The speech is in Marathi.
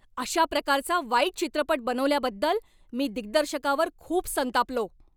अशा प्रकारचा वाईट चित्रपट बनवल्याबद्दल मी दिग्दर्शकावर खूप संतापलो.